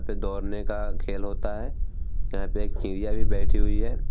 पे दौड़ने का खेल होता है | यहाँ पे एक चिड़िया भी बैठी हुई है |